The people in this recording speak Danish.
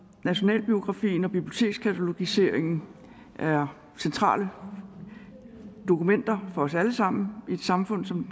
nationalbiografien og bibliotekskatalogiseringen er centrale dokumenter for os alle sammen i et samfund som